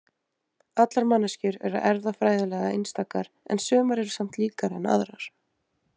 Allar manneskjur eru erfðafræðilega einstakar en sumar eru samt líkari en aðrar.